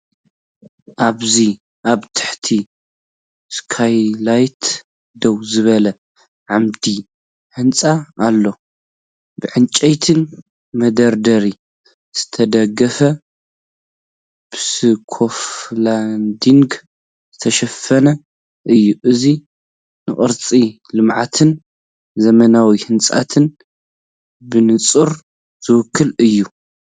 ኣብዚ ኣብ ትሕቲ ስካይላይት ደው ዝበለ ዓምዲ ህንጻ ኣሎ። ብዕንጨይቲ መደርደሪ ዝተደገፈን ብስካፎልዲንግ ዝተሸፈነን እዩ። እዚ ንቅርጺ ልምዓትን ዘመናዊ ህንጸትን ብንጹር ዝውክል እዩ።"